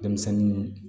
Denmisɛnnin